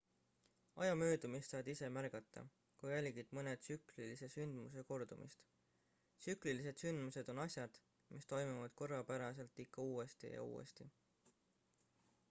aja möödumist saad ise märgata kui jälgid mõne tsüklilise sündmuse kordumist tsüklilised sündmused on asjad mis toimuvad korrapäraselt ikka uuesti ja uuesti